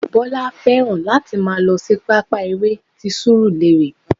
Bọlá fẹ́ràn láti máa lọ sí pápá eré ti surulere